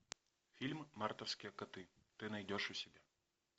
фильм мартовские коты ты найдешь у себя